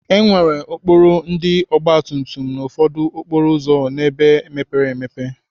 E nwere okporo ndị ọgbatumtum na ụfọdụ okporo ụzọ nọ n'ebe mepere emepe.